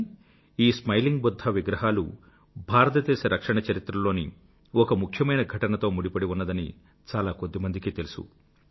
కానీ ఈ స్మైలింగ్ బుధ్ధా విగ్రహాలు భారతదేశ రక్షణ చరిత్రలోని ఒక ముఖ్యమైన ఘటనతో ముడిపడి ఉన్నదని చాల కొద్దిమందికే తెలుసు